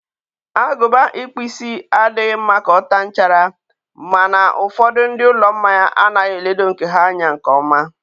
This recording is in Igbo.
agụba ịkpụ isi adịghị mma ka ọ taa nchara, ma na ụfọdụ ndị ụlọ mmanya anaghị eledo nke ha anya nke ọma.